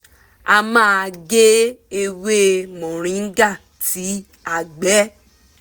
a máa gé ewé moringa tí a gbẹ